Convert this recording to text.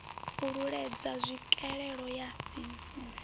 u leludza tswikelelo ya dzismme